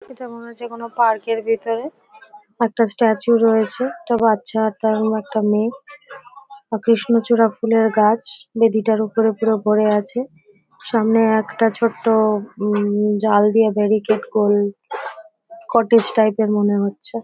এটা মনে হচ্ছে কোন পার্ক ভিতরে একটা স্ট্যাচু রয়েছে। একটা বাচ্চা তেমন একটা মেয়ে। কৃষ্ণচূড়া ফুলের গাছ বেদিটার উপর পুরো ভরে আছে. সামনে একটা ছোট্ট হুম জাল দিয়ে ব্যারিকেড করে কটেজ টাইপ -এর মনে হচ্ছে--